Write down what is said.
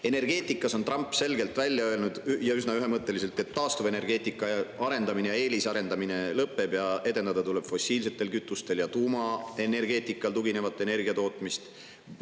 Energeetika kohta on Trump selgelt öelnud, ja üsna ühemõtteliselt, et taastuvenergeetika arendamine ja eelisarendamine lõpeb, edendada tuleb fossiilsetele kütustele ja tuumaenergeetikale tuginevat energiatootmist.